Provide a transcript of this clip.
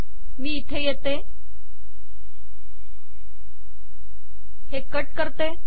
मी इथे येते व हे कट करते